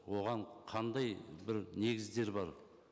оған қандай бір негіздер бар